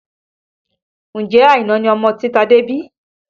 Ǹjẹ́ Àìná ni ọmọ tí Tade bí?